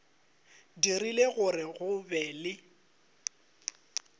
dirile gore go be le